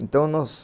Então, nós...